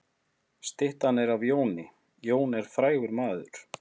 Styttan er af Jóni. Jón er frægur maður.